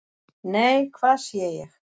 """NEI, HVAÐ SÉ ÉG!"""